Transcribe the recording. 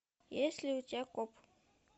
есть ли у тебя коп